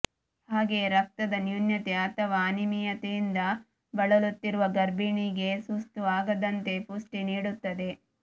ಹಾಗೆಯೇ ರಕ್ತದ ನ್ಯೂನತೆ ಅಥವಾ ಅನಿಮಿಯದಿಂದ ಬಳಲುತ್ತಿರುವ ಗರ್ಭಿಣಿಗೆ ಸುಸ್ತು ಆಗದಂತೆ ಪುಷ್ಟಿ ನೀಡುತ್ತದೆ